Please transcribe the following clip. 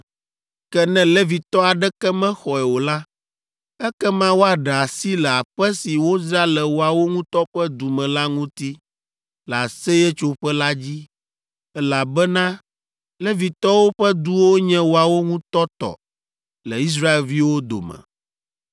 ke ne Levitɔ aɖeke mexɔe o la, ekema woaɖe asi le aƒe si wodzra le woawo ŋutɔ ƒe du me la ŋuti le Aseyetsoƒe la dzi, elabena Levitɔwo ƒe duwo nye woawo ŋutɔ tɔ le Israelviwo dome.